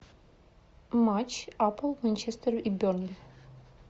матч апл манчестер и бернли